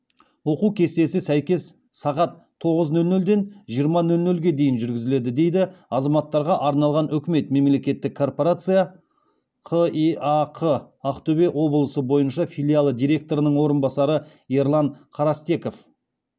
оқу кестесі сәйкес сағат тоғыз нөл нөлден жиырма нөл нөлге дейін жүргізіледі дейді азаматтарға арналған үкімет мемлекеттік корпорация қеақ ақтөбе облысы бойынша филиалы директорының орынбасары ерлан карастеков